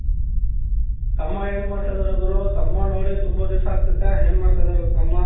ತಮ್ಮ ಏನ್ ಮಾಡ್ತಾ ಇದಾರೆ ಗುರು ತಮ್ಮನ ನೋಡಿ ತುಂಬಾ ದಿಸ ಆಗ್ತದೆ ಏನ್ ಮಾಡ್ತಾ ಇದಾರೆ ತಮ್ಮ